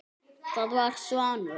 Það var Svanur.